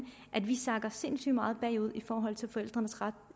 at vi altså sakker sindssygt meget bagud i forhold til fædrenes ret